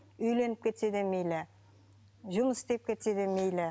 үйленіп кетсе де мейлі жұмыс істеп кетсе де мейлі